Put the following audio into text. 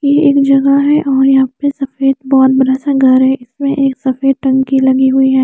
ये एक जगह है और यहाँ पे सफ़ेद बहोत बड़ा सा घर है इसमें एक सफ़ेद टंकी लगी हुई है।